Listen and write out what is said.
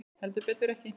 Heldur betur ekki.